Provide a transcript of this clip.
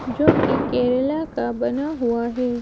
जो कि केरला का बना हुआ है।